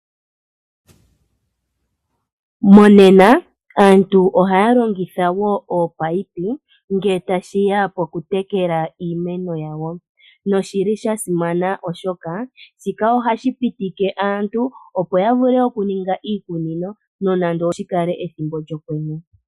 Monena aantu ohaya longitha wo ominino ngele tashiya po kutekela iimeno yawo na oshi li shasimana, oshoka shika ohashi pitikie aantu opo yavule okuninga iikunino no nande oshikale pethimbo lyokwenye.